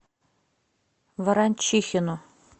ворончихину